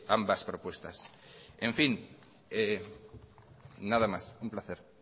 ambas propuestas en fin nada más un placer